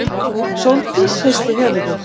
Sóldís hristi höfuðið.